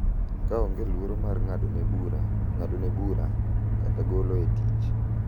Ka onge luoro mar ng’adone bura, ng’adone bura, kata golo e tich.